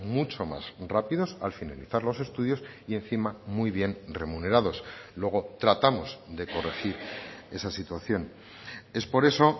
mucho más rápidos al finalizar los estudios y encima muy bien remunerados luego tratamos de corregir esa situación es por eso